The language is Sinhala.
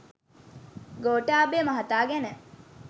ගෝඨාභය මහතා ගැන